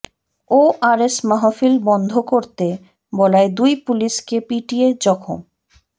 ওরস মাহফিল বন্ধ করতে বলায় দুই পুলিশকে পিটিয়ে জখম